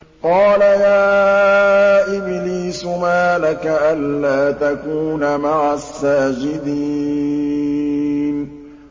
قَالَ يَا إِبْلِيسُ مَا لَكَ أَلَّا تَكُونَ مَعَ السَّاجِدِينَ